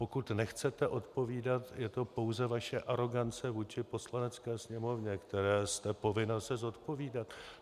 Pokud nechcete odpovídat, je to pouze vaše arogance vůči Poslanecké sněmovně, které jste povinna se zodpovídat.